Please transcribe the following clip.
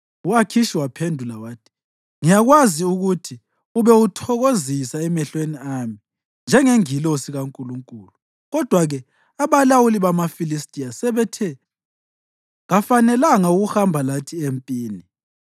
U-Akhishi waphendula wathi, “Ngiyakwazi ukuthi ube uthokozisa emehlweni ami njengengilosi kaNkulunkulu; kodwa-ke abalawuli bamaFilistiya sebethe, ‘Kafanelanga ukuhamba lathi empini.’